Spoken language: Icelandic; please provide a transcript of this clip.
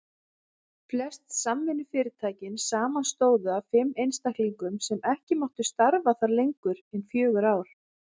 Flest samvinnufyrirtækin samanstóðu af fimm einstaklingum sem ekki máttu starfa þar lengur en fjögur ár.